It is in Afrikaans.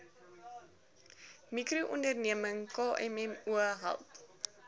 mikroonderneming kmmo help